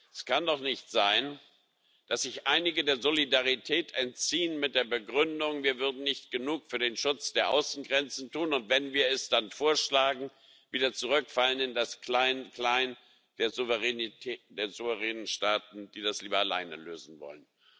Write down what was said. Es kann doch nicht sein, dass sich einige der Solidarität entziehen mit der Begründung, wir würden nicht genug für den Schutz der Außengrenzen tun, und wenn wir es dann vorschlagen, wieder zurückfallen in das Kleinklein der souveränen Staaten, die das lieber alleine lösen wollen.